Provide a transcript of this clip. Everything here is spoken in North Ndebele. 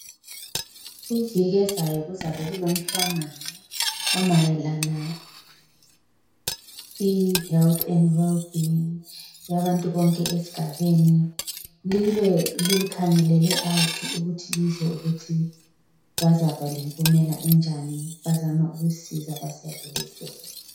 Iviki ezayo kuzabe kulomhlangano omayelana le health and well-being yabantu bonke esigabeni libe likhangelele ukuthi lizwe ukuthi bazaba lempumela enjani bezama ukusisiza besiyakhele isibhedlela.